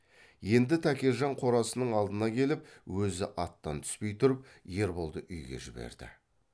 енді тәкежан қорасының алдына келіп өзі аттан түспей тұрып ерболды үйге жіберді